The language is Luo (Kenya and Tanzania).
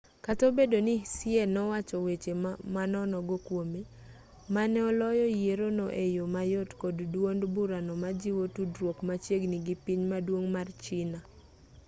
kata obedo ni hsieh nowacho weche manonogo kwome ma ne oloyo yierono e yo mayot kod duond burano majiwo tudruok machiegni gi piny maduong' mar china